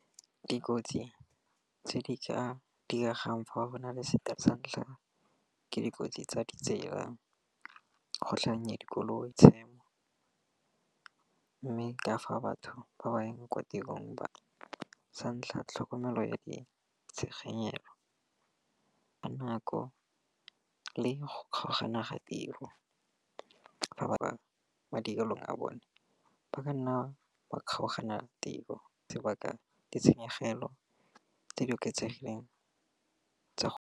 Dikotsi tse di ka diregang fa go na le seteraeke santlha. Ke dikotsi tsa ditsela, go tlhatlhanya dikoloi, tshenyo mme ka fa batho ba ba yang kwa tirong. Sa ntlha tlhokomelo ya ditshenyegelo, ka nako le go kgaogana ga tiro. Fa ba madirelong a bone ba ka nna ba kgaogana tiro sebaka ditshenyegelo tse di oketsegileng tsa go.